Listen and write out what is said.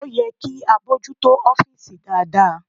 Ó yẹ kí a bójú tó ọ́fìsì dáadáa..